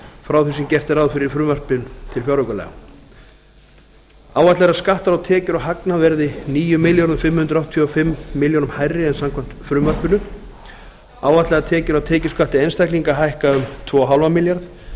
frá því sem gert er ráð fyrir í frumvarpi til fjáraukalaga áætlað er að skattar á tekjur og hagnað verði níu þúsund fimm hundruð áttatíu og fimm milljónum hærri en samkvæmt frumvarpinu áætlaðar tekjur af tekjuskatti einstaklinga hækka um tvö og hálfan milljarð